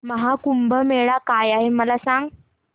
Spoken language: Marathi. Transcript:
महा कुंभ मेळा काय आहे मला सांग